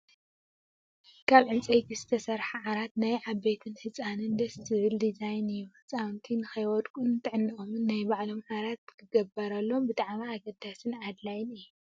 ካብ ዕንፀይቲ ዝተሰረሓ ዓራት ናይ ዓበይትን ህፃንን ደስ ዝብል ዲዛይን እዩ። ህፃውንቲ ንከይወድቁን ንጥዕኖኦምን ናይ ባዕሎም ዓራት ክግበረሎም ብጣዕሚ ኣገዳሲን ኣድላይን እዩ።